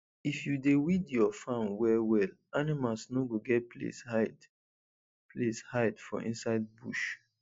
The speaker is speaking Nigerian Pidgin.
if you dey weed your farm well well animals no go get place hide place hide for inside bush